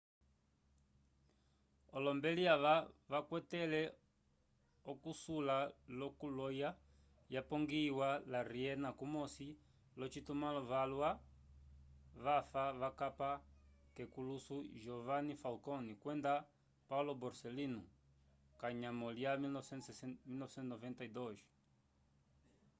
olombeli ava vakwatele okusula lo ku loya yapongihiwa la riena kumosi lo citumalo valwa vafa vakapa kekuluso giovanni falcone kwenda paolo borsellino kanyamo lya 1992